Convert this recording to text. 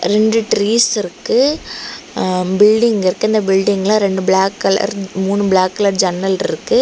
ரெண்டு ட்ரீஸ் இருக்கு அன பில்டிங் இருக்கு அந்த பில்டிங்ல ரெண்டு பிளாக் கலர் மூணு பிளாக் கலர் ஜன்னல்ருக்கு.